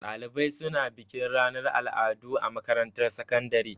Ɗalibai suna bikin ranar al'adu a makarantar sakandare.